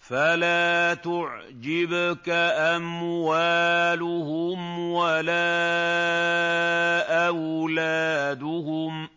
فَلَا تُعْجِبْكَ أَمْوَالُهُمْ وَلَا أَوْلَادُهُمْ ۚ